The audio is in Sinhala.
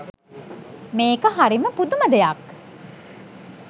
මේක හරිම පුදුම දෙයක්.